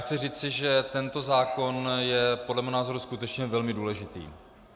Chci říci, že tento zákon je podle mého názoru skutečně velmi důležitý.